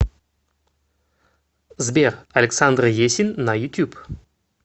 сбер александр есин на ютюб